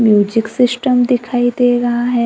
Music system दिखाई दे रहा है।